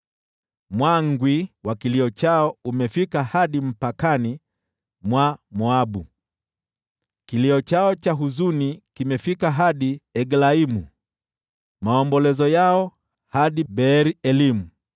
Mwangwi wa kilio chao umefika hadi mpakani mwa Moabu, kilio chao cha huzuni kimefika hadi Eglaimu, maombolezo yao hadi Beer-Elimu.